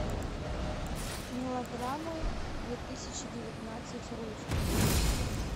мелодрамы две тысячи девятнадцать русские